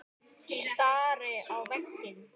Stari á veginn.